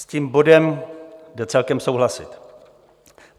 S tím bodem jde celkem souhlasit.